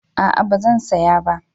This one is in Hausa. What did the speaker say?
A'a ba zan saya ba